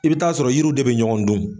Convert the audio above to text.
I bi taa sɔrɔ yiriw de bɛ ɲɔgɔn dun